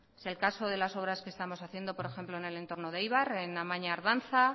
sea el caso de las obras que estamos haciendo por ejemplo en el entorno de eibar en amaña ardanza